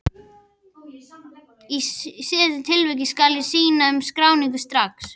Í síðari tilvikinu skal synja um skráningu strax.